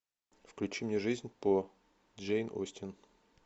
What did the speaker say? включи мне жизнь по джейн остин